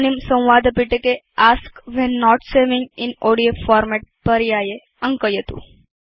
इदानीं संवादपिटके ask when not saving in ODF format पर्याये अङ्कयतु